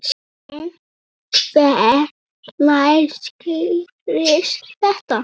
En hvenær skýrist þetta?